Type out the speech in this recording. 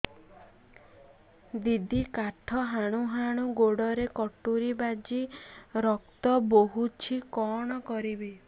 ଦିଦି କାଠ ହାଣୁ ହାଣୁ ଗୋଡରେ କଟୁରୀ ବାଜି ରକ୍ତ ବୋହୁଛି କଣ କରିବି